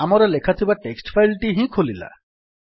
ଆମର ଲେଖାଥିବା text file ଟି ହିଁ ଖୋଲିଲା